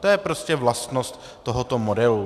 To je prostě vlastnost tohoto modelu.